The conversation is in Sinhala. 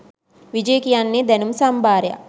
විජය කියන්නේ දැනුම් සම්භාරයක්